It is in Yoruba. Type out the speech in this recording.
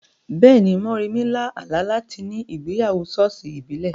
Bẹ́ẹ̀ni, Moremi lá àlá láti ní ìgbéyàwó ṣọ́ọ̀ṣì ìbílẹ̀.